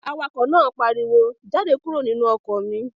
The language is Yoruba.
Awakọ̀ náà pariwo, "Jáde kúrò nínú ọkọ̀ mi!"